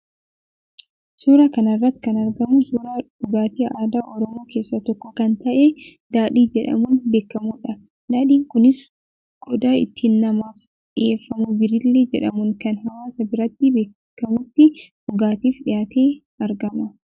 Suuraa kana irratti kan argamu suuraa dhugaatii aadaa Oromoo keessaa tokko kan ta'e daadhii jedhamuun beekamudha. Daadhiin kunis qodaa ittiin namaaf dhiyeeffamu birillee jedhamuun kan hawaasaa biratti beekamutti dhugaatiif dhiyaatee argama.